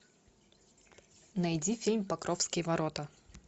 найди фильм покровские ворота